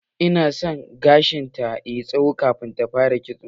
Ina so gashin ta yayi tsawo kafin ta fara kitso.